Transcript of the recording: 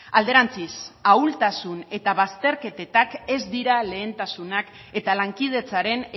alderantziz ahultasun eta bazterketak ez dira lehentasunak eta lankidetzaren